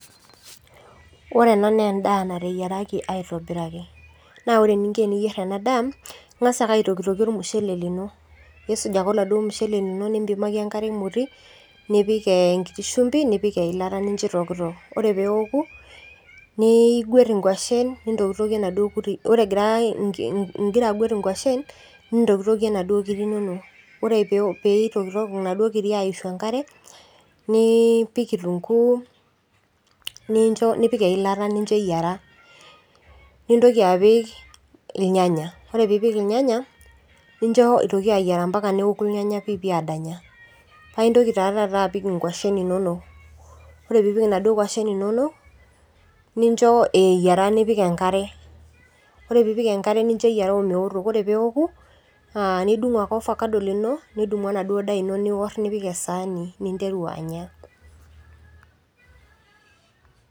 ore ena naa naa endaa nateyiaraki aatobiraki ore enikoni peeyieri nee intuku ake ele mushele nipik enkima aitokitokie ampaka nemit enkare nidodu paa itumoki atokitokie inkirik ore egira inkiriek aitokitok nigwet enkwashen ore peeedoku inaduoo kirik nidungoki kitunguu nipikk siininche irnyanya nincho eyiara ampaka nedoru nibukoki inaduo kirik inonok tenebo ingwashen nincho eyiara omewoto ore ake peeku nidung orfakado nipik endaa esaani anya s